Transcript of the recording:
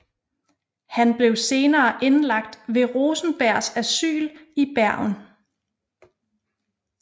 Han blev senere indlagt ved Rosenbergs asyl i Bergen